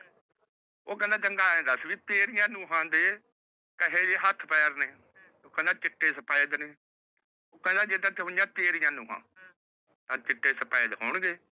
ਓਹ ਕਹੰਦਾ ਚੰਗਾ ਐਂ ਦੱਸ ਵੀ ਤੇਰੀਆਂ ਨੂਹਾਂ ਦੇ ਕੇਹੇ ਜੇ ਹੱਥ ਪੈਰ ਨੇ ਚਿੱਟੇ ਸਫੇਦ ਨੇ ਓਹ ਕਹੰਦਾ ਤੇਰੀਆਂ ਨੂਹਾਂ ਨੁਵਾ ਚਿੱਟੇ ਸਫੇਦ ਹੋਣਗੇ